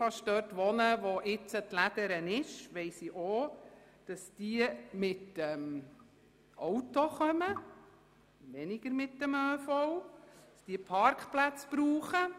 Weil ich in der Nähe der jetzigen «Lädere» wohne, weiss ich, dass die Auszubildenden mit Autos kommen, weniger mit dem ÖV, und dass sie Parkplätze benötigen.